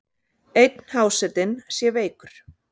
Einn hásetinn sé veikur.